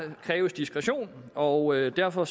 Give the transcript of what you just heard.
der kræves diskretion og derfor